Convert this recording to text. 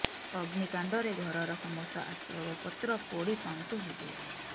ଅଗ୍ନିକାଣ୍ଡରେ ଘରର ସମସ୍ତ ଆସବାବ ପତ୍ର ପୋଡ଼ି ପାଉଁଶ ହୋଇଯାଇଛି